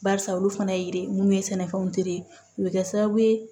Barisa olu fana ye mun ye sɛnɛfɛnw u bɛ kɛ sababu ye